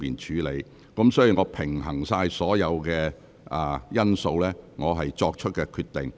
這是我平衡所有因素後作出的決定。